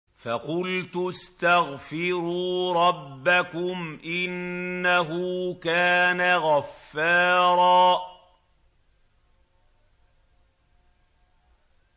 فَقُلْتُ اسْتَغْفِرُوا رَبَّكُمْ إِنَّهُ كَانَ غَفَّارًا